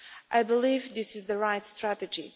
I believe this is the right strategy.